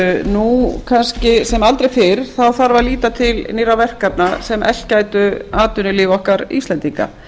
nú kannski sem aldrei fyrr þarf að líta til nýrra verkefna sem eflt gætu atvinnulíf okkar íslendinga